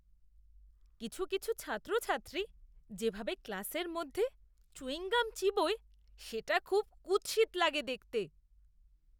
কিছু কিছু ছাত্রছাত্রী যেভাবে ক্লাসের মধ্যে চুইং গাম চিবোয় সেটা খুব কুৎসিত লাগে দেখতে!